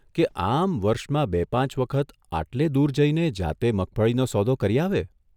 કે આમ વર્ષમાં બે પાંચ વખત આટલે દૂર જઇને જાતે મગફળીનો સોદો કરી આવે!